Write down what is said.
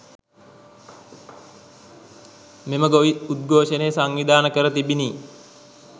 මෙම ගොවි උද්ඝෝෂණය සංවිධාන කැර තිබිණි